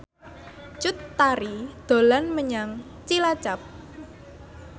Cut Tari dolan menyang Cilacap